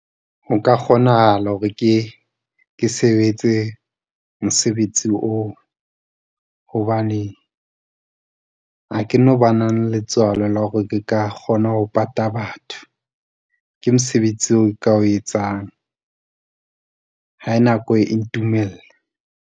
Ho ka kgonahala hore ke sebetse mosebetsi oo, hobane ha ke no bana le letswalo la hore ke ka kgona ho pata batho, ke mosebetsi o nka o etsang ha nako ntumella.